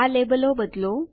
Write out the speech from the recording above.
આ લેબલો બદલો